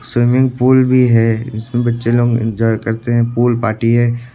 Swimming pool भी है इसमें बच्चे लोग इंजॉय करते हैं पूल पार्टी है।